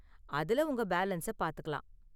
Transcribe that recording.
அதுல உங்க பேலன்ஸ பாத்துக்கலாம்.